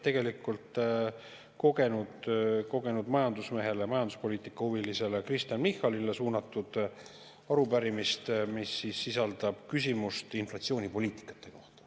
Tegemist on kogenud majandusmehele, majanduspoliitika huvilisele Kristen Michalile suunatud arupärimisega, mis sisaldab küsimust inflatsioonipoliitikate kohta.